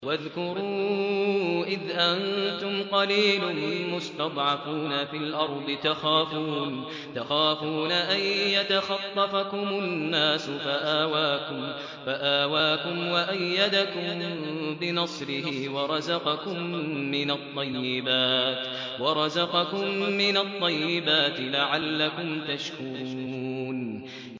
وَاذْكُرُوا إِذْ أَنتُمْ قَلِيلٌ مُّسْتَضْعَفُونَ فِي الْأَرْضِ تَخَافُونَ أَن يَتَخَطَّفَكُمُ النَّاسُ فَآوَاكُمْ وَأَيَّدَكُم بِنَصْرِهِ وَرَزَقَكُم مِّنَ الطَّيِّبَاتِ لَعَلَّكُمْ تَشْكُرُونَ